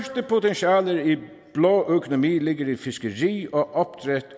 blå økonomi ligger i fiskeri og